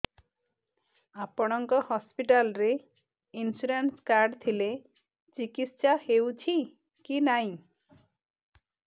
ଆପଣଙ୍କ ହସ୍ପିଟାଲ ରେ insurance card ଥିଲେ ଚିକିତ୍ସା ହେଉଛି କି ନାଇଁ